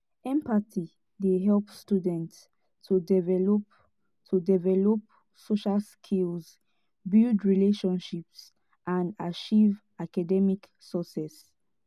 empathy dey help students to develop to develop social skills build relationships and achieve academic success.